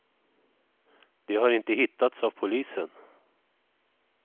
De har inte hittats av polisen.